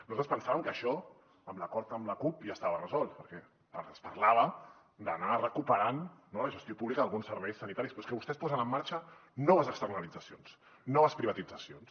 nosaltres pensàvem que això amb l’acord amb la cup ja estava resolt perquè es parlava d’anar recuperant no la gestió pública d’alguns serveis sanitaris però és que vostès posen en marxa noves externalitzacions noves privatitzacions